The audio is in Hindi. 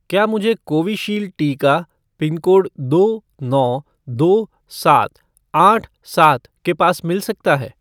क्या मुझे कोविशील्ड टीका पिनकोड दो नौ दो सात आठ सात के पास मिल सकता है?